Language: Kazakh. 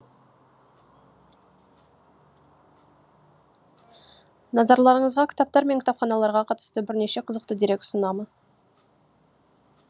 назарларыңызға кітаптар мен кітапханаларға қатысты бірнеше қызықты дерек ұсынамын